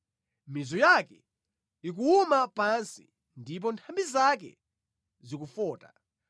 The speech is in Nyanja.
Mizu yake ikuwuma pansi ndipo nthambi zake zikufota